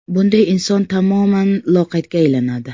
Bunday inson tamoman loqaydga aylanadi.